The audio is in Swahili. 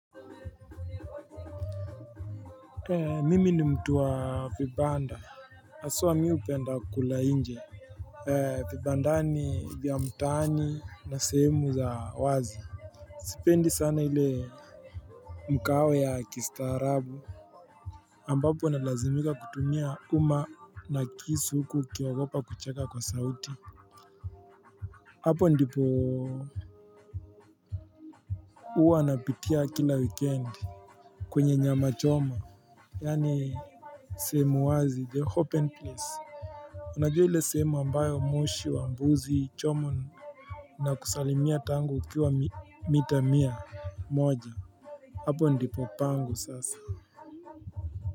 Mimi ni mtu wa vibanda haswa mimi hupenda kula nje Vibandani vya mtaani na sehemu za wazi Sipendi sana ile mkaawe ya kistaarabu ambapo analazimika kutumia uma na kisu huku ukiogopa kucheka kwa sauti Hapo ndipo huwa napitia kila wikendi kwenye nyama choma, yaani sehemu wazi, the open place, unajua ile sehemu ambayo moshi wa mbuzi choma na kusalimia tangu ukiwa mita mia moja, hapo ndipo pangu sasa.